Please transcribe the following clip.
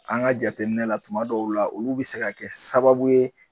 An ka jateminɛ na tuma dɔw la, olu bi se ka kɛ sababu ye